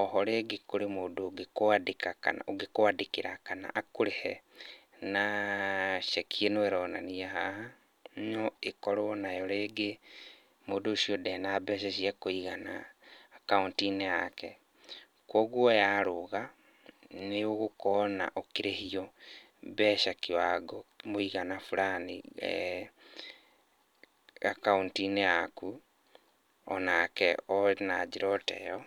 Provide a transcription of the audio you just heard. Oho rĩngĩ kũrĩ mũndũ ũngĩkwandĩkĩra kana akũrĩhe na ceki ĩno ĩronanio haha, no ĩkorwo nayo rĩngĩ mũndũ ũcio ndarĩ na mbeca cia kũigana akaunti-inĩ yake. Koguo yaruga, nĩ ũgũkorwo ũkĩrĩhio mbeca kĩwango, mũĩgana burani akaunti-inĩ yaku o nake ona njĩra o teyo.